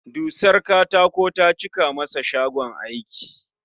Dusar katako ta cika masa shagon aiki